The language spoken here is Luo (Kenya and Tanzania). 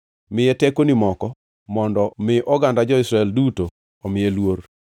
Miye tekoni moko mondo mi oganda jo-Israel duto omiye luor.